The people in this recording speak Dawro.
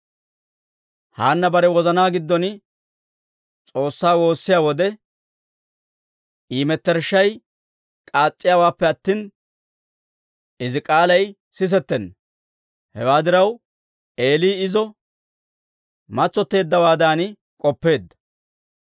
Haanna bare wozanaa giddon S'oossaa woossiyaa wode, I mettershshay k'aas's'iyaawaappe attina, izi k'aalay sisettenna; hewaa diraw, Eeli izo matsotteeddawaadan k'oppeedda.